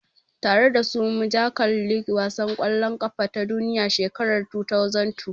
Tare dasu muja kalli wasan kwallon kafa ta duniya shekarar 2002